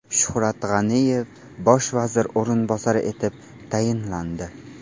Shuhrat G‘aniyev bosh vazir o‘rinbosari etib tayinlandi.